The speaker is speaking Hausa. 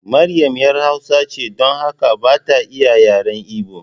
Maryam ‘yar hausa ce, don haka ba ta iya yaren Ibo.